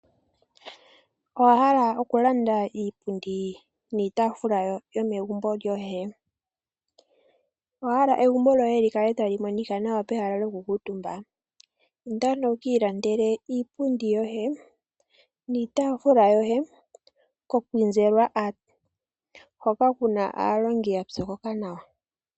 Owa hala okulanda iipundi niitafula yomegumbo lyoye? Owa hala egumbo lyoye li kale tali monika nawa pehala lyokukuutumba? Inda ano wuki ilandele iipundi yoye, niitafula yoye koKwizerwa Art, hoka kuna aalongi ya pyokoka nawa.